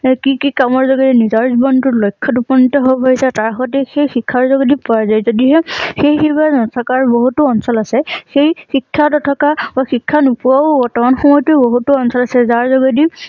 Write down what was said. কি কি কামৰ যোগেৰে নিজৰ জীৱন টো লক্ষ্যত উপনীত হব বুলি তাক তাৰ সতে সেই শিক্ষাৰ যোগেদি পোৱা যায়। যদিহে সেই নথকাৰ বহুতো অঞ্চল আছে সেই শিক্ষা নথকা আৰু শিক্ষা নোপোৱা ও বৰ্তমান সময়তো বহুতো অঞ্চল আছে যাৰ যোগেদি